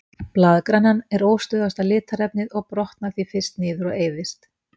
Blaðgrænan er óstöðugasta litarefnið og brotnar því fyrst niður og eyðist.